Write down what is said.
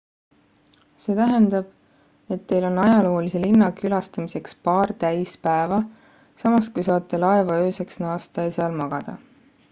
see tähendab et teil on ajaloolise linna külastamiseks paar täis päeva samas kui saate laeva ööseks naasta ja seal magada